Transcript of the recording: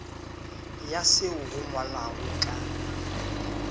ya seo go ngwalwago ka